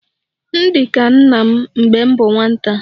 M di ka nna m mgbe m bu nwata